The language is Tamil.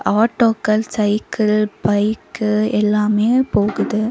ஆட்டோக்கள் சைக்கிள் பைக்கு எல்லாமே போகுது.